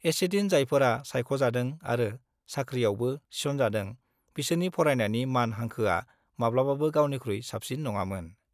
एसेदिन जायफोरा सायख'जादों आरो साख्रियावबो थिसनजादों बिसोरनि फरायनायनि मान हांखोआ माब्लाबाबो गावनिखुइ साबसिन नंआमोन।